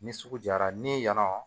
Ni sugu jara ni yan nɔ